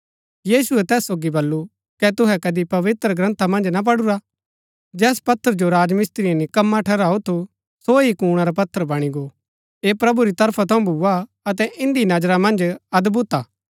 यीशुऐ तैस सोगी बल्लू कै तुहै कदी पवित्रग्रन्था मन्ज ना पढुरा जैस पत्थर जो राजमिस्त्रिये निकम्मा ठहराऊ थु सो ही कूणा रा पत्थर बणी गो ऐह प्रभु री तरफा थऊँ भूआ अतै इन्दी नजरा मन्ज अदभुत हा